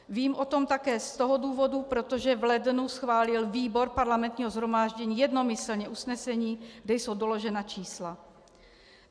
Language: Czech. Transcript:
Vím o tom také z toho důvodu, protože v lednu schválil výbor Parlamentního shromáždění jednomyslně usnesení, kde jsou doložena čísla.